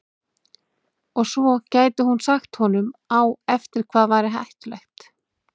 Og svo gæti hún sagt honum á eftir hvað væri hættulegt.